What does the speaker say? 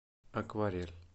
акварель